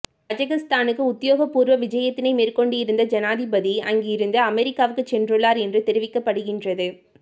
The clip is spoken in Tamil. கஸகஸ்தானுக்கு உத்தியோகபூர்வ விஜயத்தினை மேற்கொண்டிருந்த ஜனாதிபதி அங்கிருந்து அமெரிக்காவுக்கு சென்றுள்ளார் என்று தெரிவிக்கப்படுகின்றது